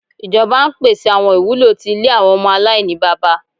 Ijọba n pese awọn iwulo ti ile awọn ọmọ alainibaba